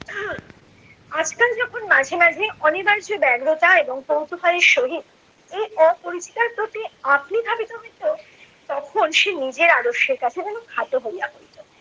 আজকাল যখন মাঝে মাঝে অনিবার্য ব্যাঘ্রতা এবং কৌতূহলের সহিত এই অপরিচিতার প্রতি আপনি ধাবিত হইত, তখন সে নিজের আদর্শের কাছে যেন খাটো হইয়া পড়িত।